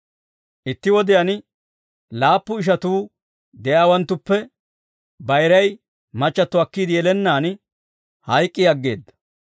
Itti wodiyaan laappu ishatuu de'iyaawanttuppe, bayiray machchatto akkiide yelennaan hayk'k'i aggeedda.